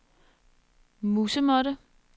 musemåtte